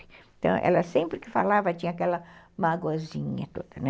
Então, ela sempre que falava tinha aquela magoazinha toda, né?